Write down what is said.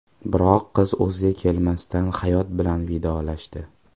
Biroq qiz o‘ziga kelmasdan hayot bilan vidolashdi.